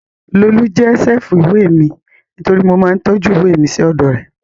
Lolú jẹ́ ṣẹ́ẹ̀fù ìwé mi nítorí mo máa ń tọ́jú ìwé mi sí ọ̀dọ̀ rẹ̀